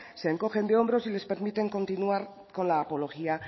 se encogen de hombros y les permiten continuar con la apología